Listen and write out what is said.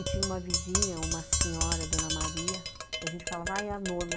E tinha uma vizinha, uma senhora, dona Maria, que a gente falava, ah, é a nona.